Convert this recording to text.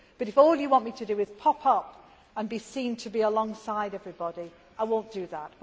Of course. If all you want me to do is pop up and be seen to be alongside everybody, I will not